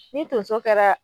Ni tonso kɛra